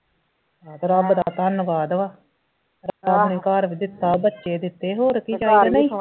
ਤੇ ਰੱਬ ਦਾ ਧੰਨਵਾਦ ਵਾ ਰੱਬ ਨੇ ਘਰ ਵੀ ਦਿੱਤਾ ਬੱਚੇ ਦਿੱਤੇ ਹੋਰ ਕਿ ਚਾਹੀਦਾ ਨਹੀਂ